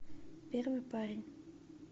первый парень